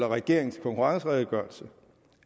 regeringens konkurrenceredegørelse